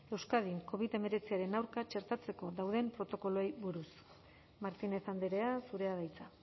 euskadin covid hemeretziaren aurka txertatzeko dauden protokoloei buruz martínez andrea zurea da hitza